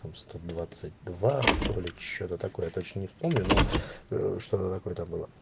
там сто двадцать два что ли что-то такое точно не вспомню но что-то какое там было